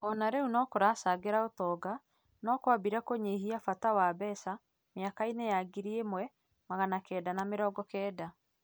o na rĩu no karacangĩra ũtonga no kambirie kũnyihia bata na mbeca mĩaka-inĩ ya ngiri ĩmwe magana kenda na mĩrongo kenda.